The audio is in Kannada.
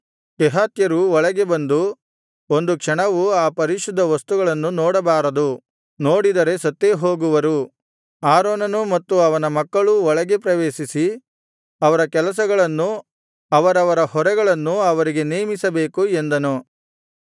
ಕೆಹಾತ್ಯರು ಒಳಗೆ ಬಂದು ಒಂದು ಕ್ಷಣವು ಆ ಪರಿಶುದ್ಧ ವಸ್ತುಗಳನ್ನು ನೋಡಬಾರದು ನೋಡಿದರೆ ಸತ್ತೇ ಹೋಗುವರು ಆರೋನನೂ ಮತ್ತು ಅವನ ಮಕ್ಕಳೂ ಒಳಗೆ ಪ್ರವೇಶಿಸಿ ಅವರ ಕೆಲಸಗಳನ್ನು ಅವರವರ ಹೊರೆಗಳನ್ನೂ ಅವರಿಗೆ ನೇಮಿಸಬೇಕು ಎಂದನು